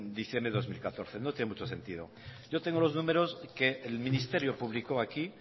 diciembre de dos mil catorce no tiene mucho sentido yo tengo los números que el ministerio publicó aquí